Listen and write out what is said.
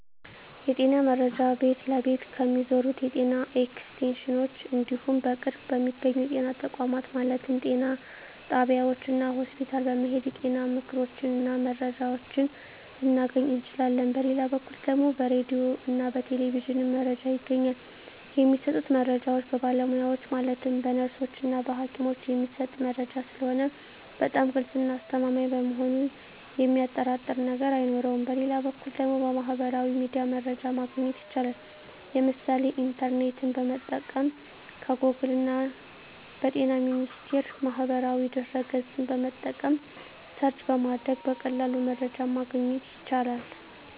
የጤና መረጃ ቤት ለቤት ከሚዞሩት የጤና ኤክስቴንሽኖች እንዲሁም በቅርብ በሚገኙ የጤና ተቋማት ማለትም ጤና ጣቢያዎች እና ሆስፒታል በመሔድ የጤና ምክሮችን እና መረጃዎችን ልናገኝ እንችላለን በሌላ በኩል ደግሞ በራዲዮ እና በቴሌቪዥንም መረጃ ይገኛል የሚሰጡት መረጃዎች በባለሙያዎች ማለትም በነርሶች እና በሀኪሞች የሚሰጥ መረጂ ስለሆነ በጣም ግልፅ እና አስተማማኝ በመሆኑ የሚያጠራጥር ነገር አይኖረውም በሌላ በኩል ደግሞ በሚህበራዊ ሚዲያ መረጃ ማግኘት ይቻላል የምሳሌ ኢንተርኔትን በመጠቀም ከጎግል እና በጤና ሚኒስቴር ማህበራዊ ድህረ ገፅን በመጠቀም ሰርች በማድረግ በቀላሉ መረጃን ማግኘት ይቻላል።